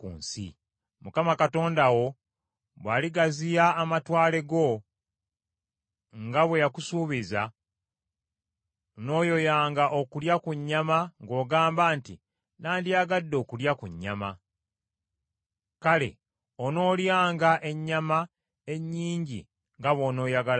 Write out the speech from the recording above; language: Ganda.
Mukama Katonda wo bw’aligaziya amatwale go, nga bwe yakusuubiza, n’oyoyanga okulya ku nnyama ng’ogamba nti, “Nandiyagadde okulya ku nnyama.” Kale, onoolyanga ennyama ennyingi nga bw’onooyagalanga.